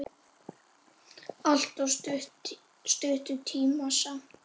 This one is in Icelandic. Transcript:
Allt of stuttur tími samt.